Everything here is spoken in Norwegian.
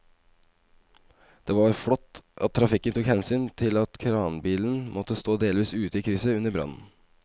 Det var flott at trafikken tok hensyn til at kranbilen måtte stå delvis ute i krysset under brannen.